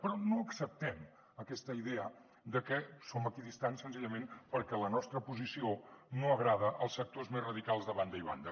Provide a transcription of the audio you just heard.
però no acceptem aquesta idea de que som equidistants senzillament perquè la nostra posició no agrada als sectors més radicals de banda i banda